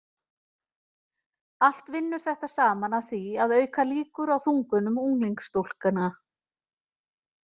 Allt vinnur þetta saman að því að auka líkur á þungunum unglingsstúlkna.